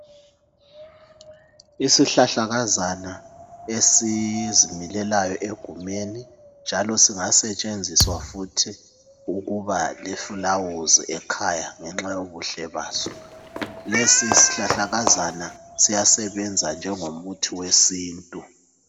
Isihlahlakaza esizimilelayo egumeni njalo esingasetshenziswa futhi ukuba lifulawuzi ekhaya ngenxa yobuhle waso. Isihlahlakazana siyasebenza ngengomuthi wesintu.